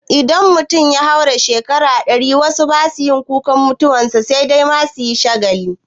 Idan mutum ya haura shekaru ɗari wasu basa yin kukan mutuwan sa sai dai ma ayi shagali